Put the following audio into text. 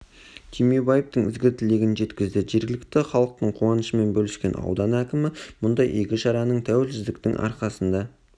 түймебаевтың ізгі тілегін жеткізді жергілікті халықтың қуанышымен бөліскен аудан кімі мұндай игі шараның тәуелсіздіктің арқасында